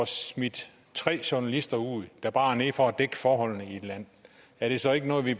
smidt tre journalister ud der bare er nede for at dække forholdene i et land er det så ikke noget vi